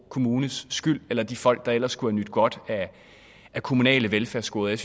kommunes skyld eller de folk der ellers skulle have nydt godt af kommunale velfærdsgoder jeg